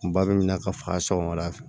Kunba bɛ minɛ ka faga sɔgɔmada fɛ